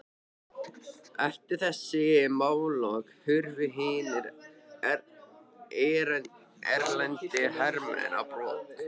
Eftir þessi málalok hurfu hinir erlendu hermenn á brott.